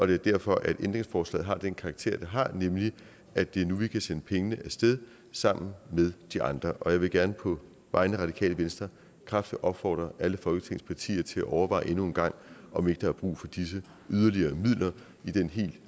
det er derfor at ændringsforslaget har den karakter det har nemlig at det er nu vi kan sende pengene af sted sammen med de andre jeg vil gerne på vegne af radikale venstre kraftigt opfordre alle folketingets partier til at overveje endnu en gang om ikke der er brug for disse yderligere midler i den helt